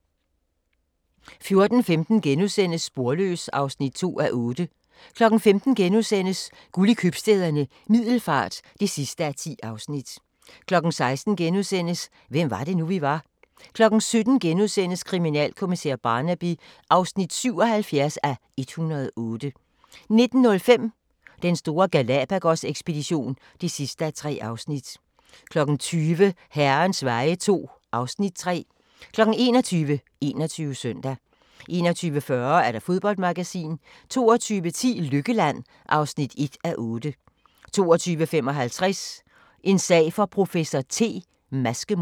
14:15: Sporløs (2:8)* 15:00: Guld i Købstæderne - Middelfart (10:10)* 16:00: Hvem var det nu, vi var? * 17:00: Kriminalkommissær Barnaby (77:108)* 19:05: Den store Galápagos-ekspedition (3:3) 20:00: Herrens veje II (Afs. 3) 21:00: 21 Søndag 21:40: Fodboldmagasinet 22:10: Lykkeland (1:8) 22:55: En sag for professor T: Maskemord